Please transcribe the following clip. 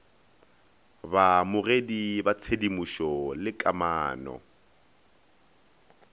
baamogedi ba tshedimošo le kamano